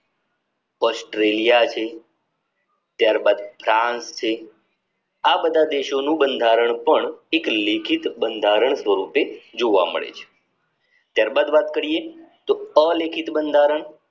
Australia છે ત્યારબાદ France છે આ બધા દેશોનું બંધારણ પણ એક લેખિત બંધારણ સ્વરૂપે જોવા મળે છે ત્યારબાદ વાત કરીયે તો અલેખિત બંધારણ